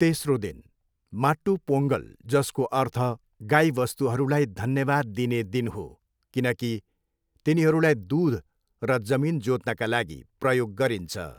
तेस्रो दिन, माट्टू पोङ्गल जसको अर्थ गाईवस्तुहरूलाई धन्यवाद दिने दिन हो, किनकि तिनीहरूलाई दुध र जमिन जोत्नका लागि प्रयोग गरिन्छ।